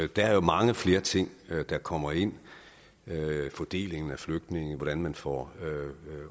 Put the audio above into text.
der er mange flere ting der kommer ind fordelingen af flygtninge hvordan man får